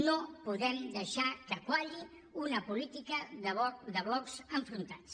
no podem deixar que qualli una política de blocs enfrontats